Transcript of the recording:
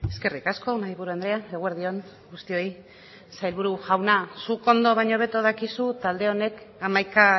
eskerrik asko mahaiburu andrea eguerdi on guztioi sailburu jauna zuk ondo baino hobeto dakizu talde honek hamaika